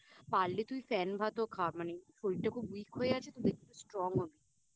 পারলে তুই ফ্যান ভাতও খা মানে শরীরটা একটু Weak হয়ে আছে তো তুই একটু Strong হবি